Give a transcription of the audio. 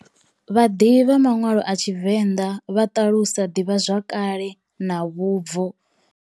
Vhadivhi vha manwalo a TshiVenda vha ṱalusa divhazwakale na vhubvo.